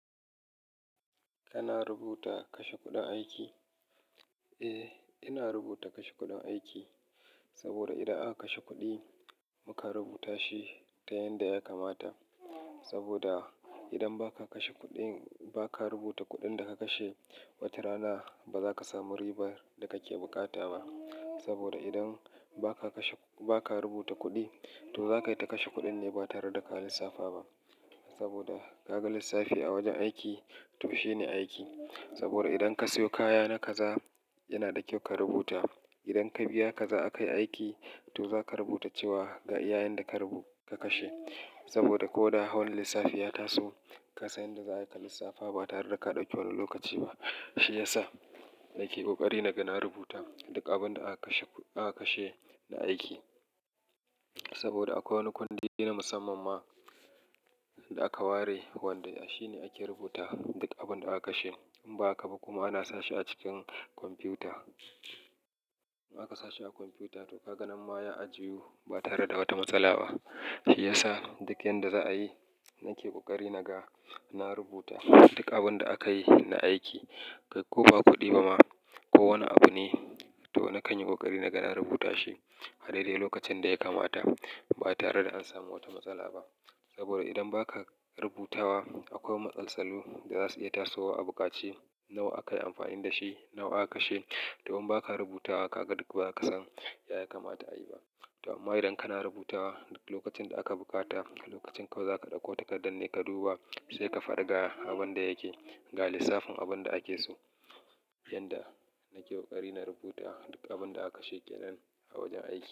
Kana rubuta kashe kuɗin aiki? Eh, ina rubuta kashe kuɗin aiki. Saboda idan aka kashe kuɗi muka rubuta shi ta yanda ya kamata. Saboda idan ba ka kashe kuɗi, ba ka rubuta kuɗin da ka kashe, wata rana ba za ka samu ribar da kake bukata ba. Saboda idan ba ka kashe, ba ka rubuta kuɗi, to zaka yi ta kashe kuɗin ne ba tare da ka lissafa ba. Saboda ka ga lissafi a wajen aiki, tushe ne aiki. Saboda idan ka siyo kaya na kaza yana da kyau ka rubuta. Idan ka biya kaza aka yi aiki, to za ka rubuta cewa ga ya'yan da ka kashe. Saboda ko da hawan lissafi ya taso, ka san yadda za a yi ka lissafa ba tare da ka ɗauki wani lokaci ba. Shi ya sa nake ƙoƙari na ga na rubuta duk abin da aka kashe, aka kashe na aiki. Saboda akwai wani kwandiri na musamman ma da aka ware wanda shi ne ake rubuta duk abin da aka kashe. In ba haka ba kuma ana sashi a cikin kwamfuta. In aka sashi a kwamfuta, to ka ga nan ma ya ajiye ba tare da wata matsala ba. Shi ya sa duk yadda za a yi, nake ƙoƙari naga na rubuta duk abin da aka yi na aiki. Kai ko ba kuɗi ba ma, ko wane abu ne, to na kan yi ƙoƙari naga na rubuta shi a daidai lokacin da ya kamata ba tare da an samu wata matsala ba. Saboda idan ba ka rubutawa akwai matsaltsalu da za su iya tasowa a buƙaci. Nawa aka yi amfani da shi, nawa aka kashe. To in ba ka rubuta wa ka ga duk ba ka san ya kamata a yi ba. To amma idan kana rubutawa lokacin da aka buƙata, lokacin kawai za ka ɗauko takardar ne ka duba, sai ka faɗa ga abin da yake ga lissafin abin da ake so. Yanda nake ƙoƙari na rubuta duk abin da aka kashe kenan a wajen aiki.